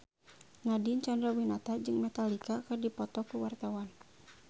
Nadine Chandrawinata jeung Metallica keur dipoto ku wartawan